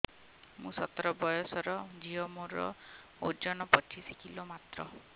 ମୁଁ ସତର ବୟସର ଝିଅ ମୋର ଓଜନ ପଚିଶି କିଲୋ ମାତ୍ର